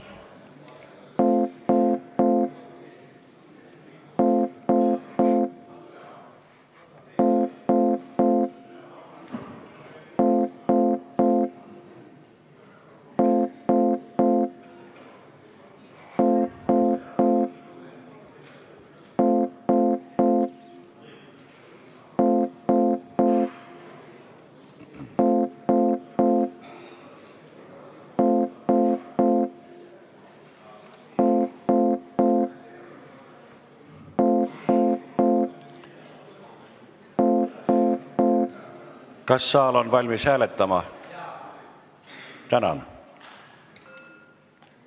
Kas saal on valmis hääletama?